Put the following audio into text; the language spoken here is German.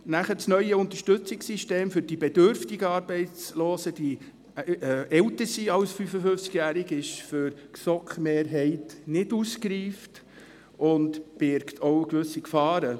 Das neue Unterstützungssystem für die bedürftigen Arbeitslosen, die älter sind als 55, ist für die GSoK-Mehrheit nicht ausgereift und birgt auch gewisse Gefahren.